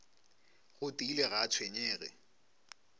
go tiile ga a tshwenyege